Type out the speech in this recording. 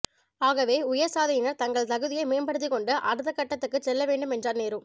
ஆகவே உயர்சாதியினர் தங்கள் தகுதியை மேம்படுத்திக்கொண்டு அடுத்தகட்டத்துக்குச் செல்லவேண்டும் என்றார் நேரு